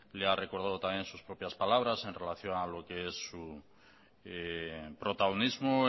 le ha recordado también sus propias palabras en relación a lo que es su protagonismo